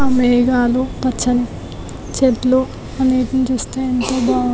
ఆ మేఘాలు పచ్చని చెట్లు అనేవి చూస్తే ఎంతో బాగుం --